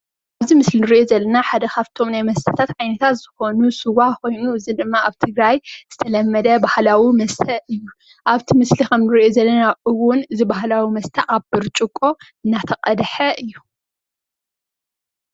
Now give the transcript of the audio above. እዚ ምስሊ እንሪኦ ዘለና ሓደ ካብቶም ናይ መስተታት ዓይነታትዝ ኮኑ ስዋ ኮይኑ እዚ ድማ አብ ትግራይ ዝተለመደ ባህላዊ መስተ እዩ። አብቲ ምስሊ እንሪኦ ዘለና እውን አብ ብጭርቆ እናተቀድሐ እዩ፡፡